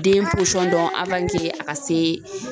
Den dɔn a ka se